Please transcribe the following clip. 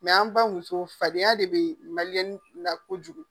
an baw muso fadenya de be mali la kojugu.